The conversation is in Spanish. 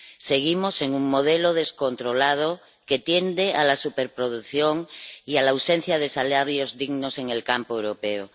Seguimos en un modelo descontrolado que tiende a la superproducción y a la ausencia de salarios dignos en el campo europeo.